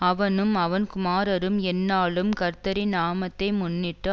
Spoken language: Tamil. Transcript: அவனும் அவன் குமாரரும் எந்நாளும் கர்த்தரின் நாமத்தை முன்னிட்டு